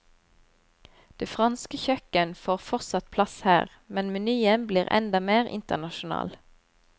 Det franske kjøkken får fortsatt plass her, men menyen blir enda mer internasjonal.